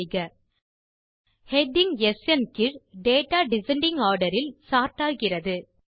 செய்க ஹெடிங் ஸ்ன் கீழ் டேட்டா டிசெண்டிங் ஆர்டர் இல் சோர்ட் ஆகிறது